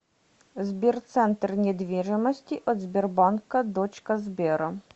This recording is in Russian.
сбер центр недвижимости от сбербанка дочка сбера